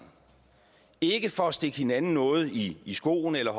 ikke for at stikke hinanden noget i skoene eller